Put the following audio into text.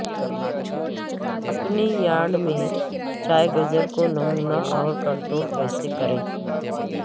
اپنے یارڈ میں چائگجر کو نمونہ اور کنٹرول کیسے کریں